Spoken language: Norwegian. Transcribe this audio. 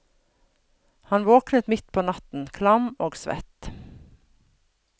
Han våkner midt på natten, klam og svett.